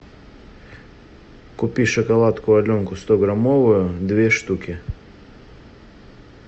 купи шоколадку аленка стограммовую две штуки